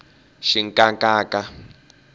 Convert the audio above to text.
xinkankanka